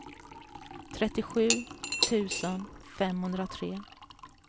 trettiosju tusen femhundratre